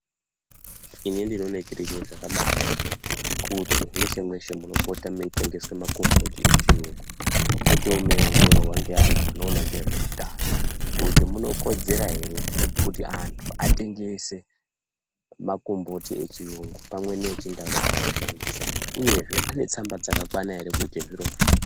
Ini ndino ona chiri chiro chakabai naka kuti mweshe mweshe muno pota mei tengeswe makomboti echiyungu mupotewo mei ongororwa nge antu ano ona ngezve utano kuti muno kodzera ere kuti antu atengese makomboti echiyungu pamwe ne echi ndau ano shandisa uyezve ane tsamba dzaka kwana ere kuite zvirozvo.